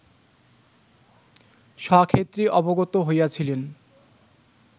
স্বক্ষেত্রে অবগত হইয়াছিলেন